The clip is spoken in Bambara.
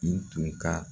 I tun ka